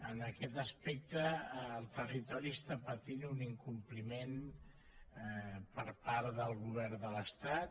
en aquest aspecte el territori està patint un incompliment per part del govern de l’estat